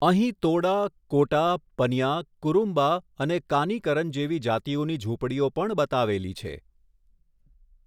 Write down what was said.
અહીં તોડા, કોટા, પનિયા, કુરુમ્બા અને કાનીકરન જેવી જાતિઓની ઝૂંપડીઓ પણ બતાવેલી છે